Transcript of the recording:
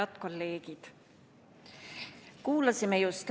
Head kolleegid!